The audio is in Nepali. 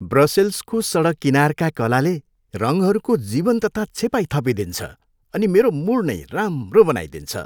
ब्रसेल्सको सडक किनारका कलाले रङहरूको जीवन्तता छेपाइ थपिदिन्छ अनि मेरो मुड नै राम्रो बनाइदिन्छ।